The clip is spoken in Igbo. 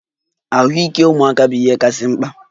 Ahụike ụmụaka bụ ihe kachasị mkpa.